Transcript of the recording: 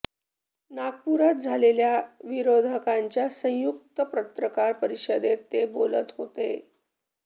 नागपुरात झालेल्या विरोधकांच्या संयुक्त पत्रकार परिषदेत ते बोलत होते